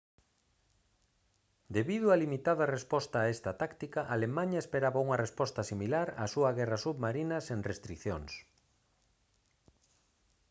debido á limitada resposta a esta táctica alemaña esperaba unha resposta similar á súa guerra submarina sen restricións